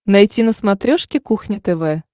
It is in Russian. найти на смотрешке кухня тв